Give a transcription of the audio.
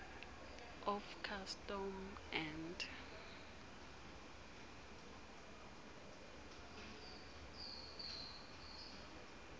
of custom and